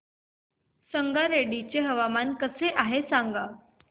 संगारेड्डी चे हवामान कसे आहे सांगा